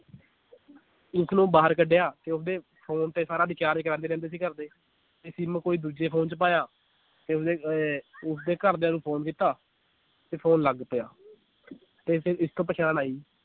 ਉਸਨੂੰ ਬਾਹਰ ਕਢਿਆ ਤੇ ਉਸਦੇ phone ਤੇ ਸਾਰਾ recharge ਕਰਾਂਦੇ ਰਹਿੰਦੇ ਸੀ ਘਰਦੇ ਤੇ ਸਿਮ ਕੋਈ ਦੂਜੇ phone ਚ ਪਾਇਆ ਤੇ ਓਹਨੇ ਇਹ ਉਸਦੇ ਘਰਦਿਆਂ ਨੂੰ phone ਕੀਤਾ ਤੇ phone ਲੱਗ ਪਿਆ ਤੇ ਫਿਰ ਇਸਤੋਂ ਪਛਾਣ ਆਈ